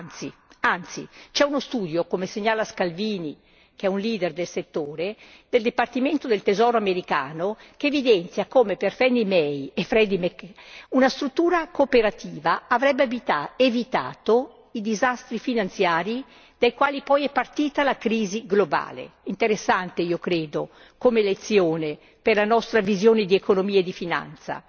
C'è anzi uno studio come segnala Scalvini che è un leader del settore del Dipartimento del tesoro americano che evidenzia come, per Fannie Mae e Freddie Mac, una struttura cooperativa avrebbe evitato i disastri finanziari dai quali poi è partita la crisi globale. Interessante, io credo, come lezione per la nostra visione di economia e di finanza.